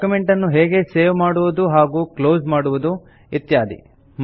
document ನ್ನು ಹೇಗೆ save ಮಾಡುವುದು ಹಾಗೂ ಕ್ಲೋಸ್ ಮಾಡುವುದು ಇತ್ಯಾದಿ